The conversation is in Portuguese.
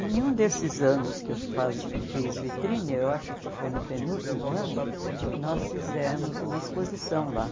Em nenhum desses anos que eu fazi fiz vitrine, eu acho que foi no penúltimo ano, nós fizemos uma exposição lá.